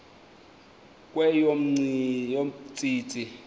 kweyomntsintsi